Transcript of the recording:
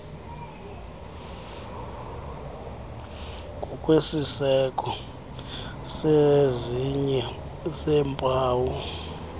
ngokwesiseko sezinye zeempawu